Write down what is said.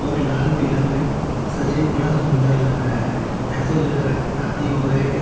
बहुत लाल पीला में सजा है बड़ा सुन्दर लग रहा है जैसे लग रहा है शादी हो रहा है किस --